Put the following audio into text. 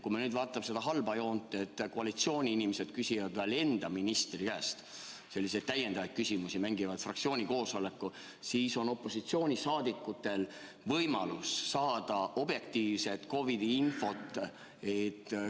Kui me vaatame seda halba joont, et koalitsiooniinimesed küsivad enda ministri käest ka lisaküsimusi, n-ö mängivad fraktsiooni koosolekut, siis on opositsioonil veelgi vähem võimalusi saada objektiivset COVID-i infot.